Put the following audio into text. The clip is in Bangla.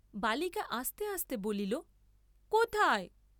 বালিকা আস্তে আস্তে বলিল কোথায়?